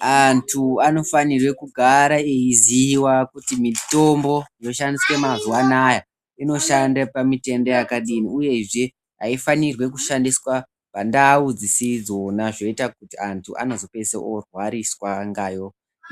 Antu anofana kugara vachiziva kuti mitombo dzinoshandiswa mazuva anawa ino shande pamutenda yakadini uyezve haifanirwi kushandiswa pandau dzisidzo zvoita kuti vantu vanopedzisira vorwariswa